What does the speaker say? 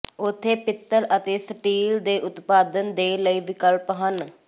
ਉੱਥੇ ਪਿੱਤਲ ਅਤੇ ਸਟੀਲ ਦੇ ਉਤਪਾਦਨ ਦੇ ਲਈ ਵਿਕਲਪ ਹਨ